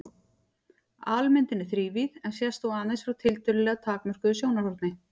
Almyndin er þrívíð en sést þó aðeins frá tiltölulega takmörkuðu sjónarhorni.